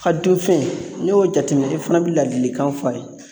A dun fɛn n'i y'o jateminɛ, i fana bɛ ladilikan fɔ a ye.